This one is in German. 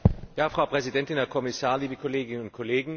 Frau Präsidentin, Herr Kommissar, liebe Kolleginnen und Kollegen!